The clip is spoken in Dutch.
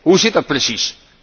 Hoe zit dat precies?